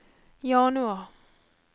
januar